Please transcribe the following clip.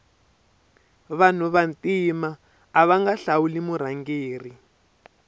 vanu va ntima avanga hlawuli murhangeri